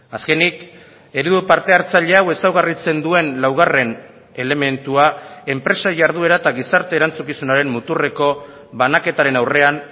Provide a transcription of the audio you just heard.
azkenik eredu parte hartzaile hau ezaugarritzen duen laugarren elementua enpresa jarduera eta gizarte erantzukizunaren muturreko banaketaren aurrean